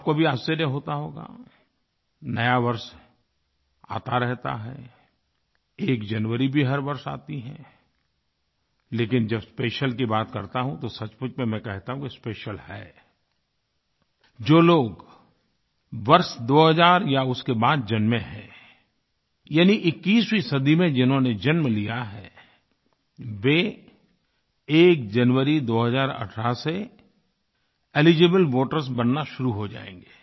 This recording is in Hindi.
आपको भी आश्चर्य होता होगा नया वर्ष आता रहता है एक जनवरी भी हर वर्ष आती है लेकिन जब स्पेशियल की बात करता हूँ तो सचमुच में मैं कहता हूँ कि स्पेशियल है जो लोग वर्ष 2000 या उसके बाद जन्मे हैं यानी 21वीं सदी में जिन्होंने जन्म लिया है वे एक जनवरी 2018 से एलिजिबल वोटर्स बनना शुरू हो जाएँगे